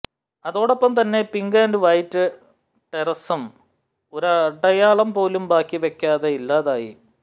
അതോടൊപ്പം തന്നെ pink and white ടെറസസും ഒരടയാളം പോലും ബാക്കിവയ്ക്കാതെ ഇല്ലാതായി